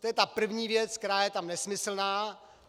To je ta první věc, která je tam nesmyslná.